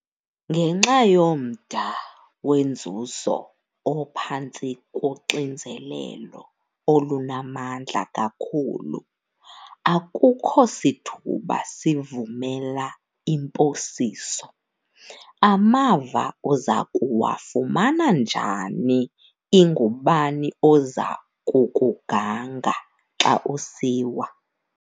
Ngenxa yomda wenzuzo ophantsi koxinzelelo olunamandla kakhulu, akukho sithuba sivumela imposiso. Amava uza kuwafumana njani, ingubani oza kukuganga xa usiwa?